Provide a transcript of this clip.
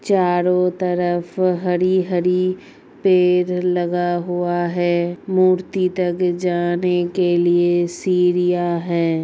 चारो तरफ हरी-हरी पेड़ लगा हुआ है मूर्ति तक जाने के लिए सीढिया हैं।